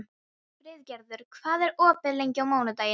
Friðgerður, hvað er opið lengi á mánudaginn?